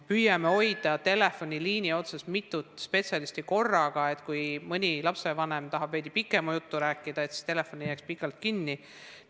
Püüame hoida telefoniliini otsas mitut spetsialisti korraga, nii et kui mõni lapsevanem tahab veidi pikema jutu rääkida, siis telefon ei jääks pikalt kinni.